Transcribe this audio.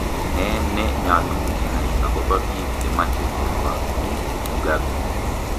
Nee ne nyalu inai akoba biik chemache korwakyi mugabe